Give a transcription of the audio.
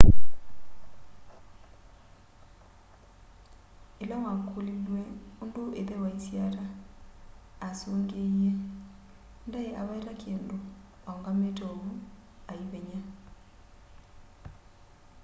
ĩla wakũlilw'eũndũ ĩthe waisye ata asũngĩĩe ndaĩaweta kĩndũ-aũngamĩte ovũ aĩvenya